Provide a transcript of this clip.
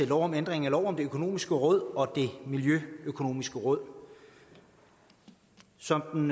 lov om ændring af lov om det økonomiske råd og det miljøøkonomiske råd som den